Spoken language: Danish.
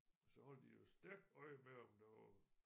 Så holdt de jo stærkt øje med om der var